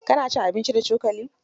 Ka na cin abinci da cokali?